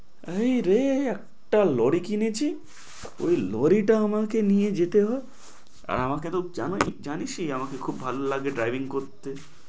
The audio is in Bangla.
এই রে একটা lorry কিনেছি, ওই lorry টা আমাকে নিয়ে যেতে হয়, আর আমাকে তো জামাই~ জানিসই, আমাকে খুব ভালো লাগে driving করতে।